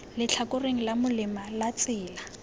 letlhakoreng la molema la tsela